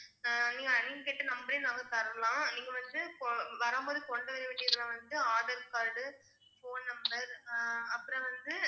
அஹ் நீங்க நீங்க கேட்ட number ரே நாங்க தரலாம் நீங்க வந்து கொ~ வரும்போது கொண்டு வர வேண்டியதுலா வந்து aadhaar card phone number ஆஹ் அப்புறம் வந்து